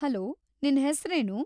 Hello, ನಿನ್ ಹೆಸ್ರೇನು?